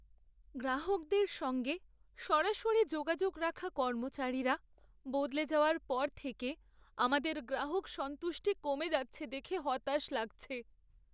গ্রাহকদের সঙ্গে সরাসরি যোগাযোগ রাখা কর্মচারীরা বদলে যাওয়ার পর থেকে আমাদের গ্রাহক সন্তুষ্টি কমে যাচ্ছে দেখে হতাশ লাগছে।